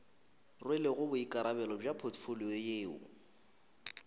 rwelego boikarabelo bja potfolio yeo